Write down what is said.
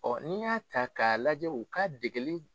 n'i y'a ta k'a lajɛ u ka degeli